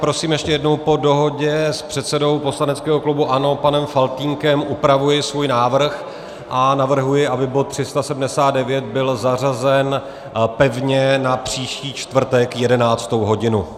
Prosím ještě jednou - po dohodě s předsedou poslaneckého klubu ANO panem Faltýnkem upravuji svůj návrh a navrhuji, aby bod 379 byl zařazen pevně na příští čtvrtek 11. hodinu.